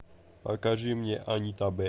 покажи мне анита б